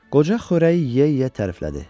Qoca xörəyi yeyə-yeyə təriflədi.